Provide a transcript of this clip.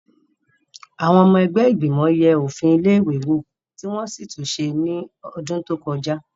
Àwọn ọmọ ẹgbẹ́ ìgbìmọ̀ yẹ òfin ilé-ìwé wò tí wọ́n sì tún ṣe ní ọdún tó kọjá.